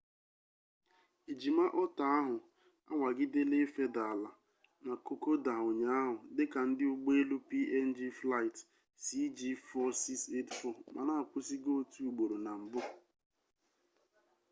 ejima otter ahụ anwagidela ifeda ala na kokoda ụnyaahụ dị ka ndị ụgbọ elu png flight cg4684 mana a kwụsigo otu ugboro na mbụ